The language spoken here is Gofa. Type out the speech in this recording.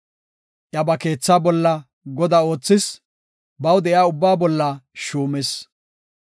Iya ba keethaa bolla godaa oothis; baw de7iya ubbaa bolla shuumis.